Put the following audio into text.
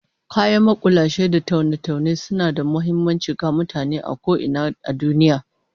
Kayan makulashe da taune-taune suna da muhimmanci ga mutane a ko ina a duniya